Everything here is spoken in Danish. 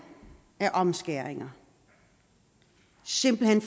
af omskæringer simpelt hen